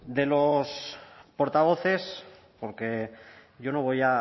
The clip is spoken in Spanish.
de los portavoces porque hoy no voy